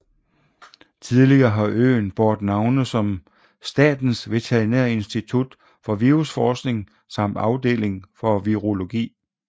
Tidligere har øen båret navne som Statens Veterinære Institut for Virusforskning samt Afdeling for Virologi